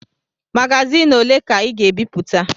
Magazin ole ka Ị ga-ebipụta?